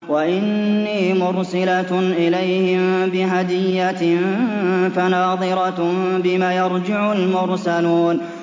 وَإِنِّي مُرْسِلَةٌ إِلَيْهِم بِهَدِيَّةٍ فَنَاظِرَةٌ بِمَ يَرْجِعُ الْمُرْسَلُونَ